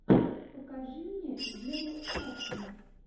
покажи мне геру сафина